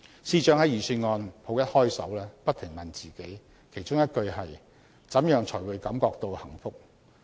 司長在預算案甫一開首，不停問自己，其中一句是："怎樣才會感覺到幸福"。